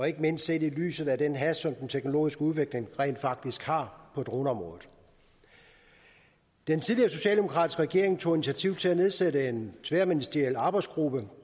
ikke mindst set i lyset af den hast som den teknologiske udvikling rent faktisk har på droneområdet den tidligere socialdemokratiske regering tog initiativ til at nedsætte en tværministeriel arbejdsgruppe